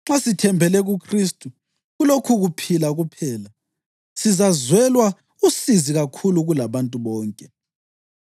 Nxa sithembele kuKhristu kulokhukuphila kuphela, sizazwelwa usizi kakhulu kulabantu bonke.